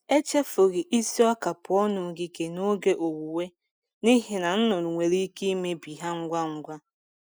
Echefughị isi ọka pụọ n’ogige n’oge owuwe, n’ihi na nnụnụ nwere ike imebi ha ngwa ngwa.